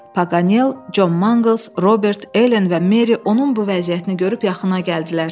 Paganel, Con Mangles, Robert, Elen və Meri onun bu vəziyyətini görüb yaxına gəldilər.